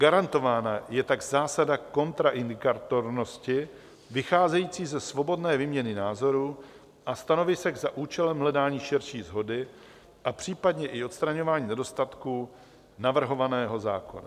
Garantována je tak zásada kontraindikatornosti vycházející ze svobodné výměny názorů a stanovisek za účelem hledání širší shody a případně i odstraňování nedostatků navrhovaného zákona.